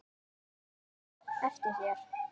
Og láttu það eftir þér.